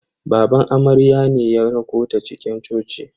Baban amaryar ne ya rakota cikin coci.